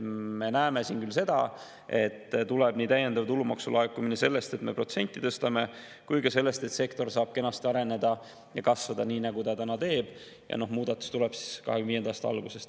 Me näeme küll seda, et tuleb täiendav tulumaksulaekumine nii sellest, et me protsenti tõstame, kui ka sellest, et sektor saab kenasti areneda ja kasvada, nii nagu ta täna teeb, ja muudatus tuleb siis 2025. aasta algusest.